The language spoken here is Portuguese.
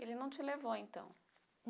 Ele não te levou, então.